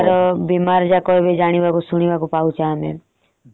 ବହୁତ ପ୍ରକାର ବିମାର ଯାକ ଏବେ ଜାଣିବାକୁ ଶୁଣିବାକୁ ପାଉଛେ ଆମେ।